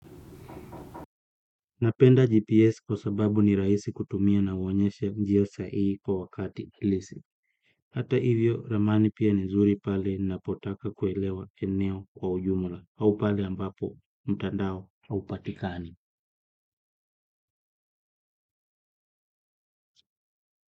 Napenda GPS kwa sababu ni rahisi kutumia na huonyesha njia sahihi kwa wakati halisi. Hata hivyo, ramani pia ni nzuri pale napotaka kuelewa eneo kwa ujumla. Au pale ambapo, mtandao, haupatikani.